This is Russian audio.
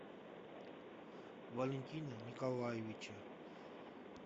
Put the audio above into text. валентина николаевича